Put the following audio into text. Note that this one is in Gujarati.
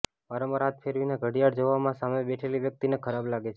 વારંવાર હાથ ફેરવીને ઘડિયાળ જોવામાં સામે બેઠેલી વ્યક્તિને ખરાબ લાગે છે